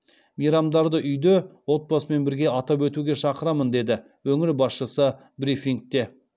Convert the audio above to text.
мейрамдарды үйде отбасымен бірге атап өтуге шақырамын деді өңір басшысы брифингте